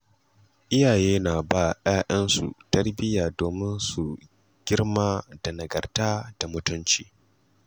Iyaye na ba ‘ya’yansu tarbiyya domin su girma da nagarta da mutunci.